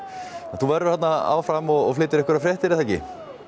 þú verður þarna áfram og flytur fréttir er það ekki